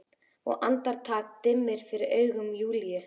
Og andartak dimmir fyrir augum Júlíu.